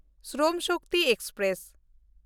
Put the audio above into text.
Shram Shakti express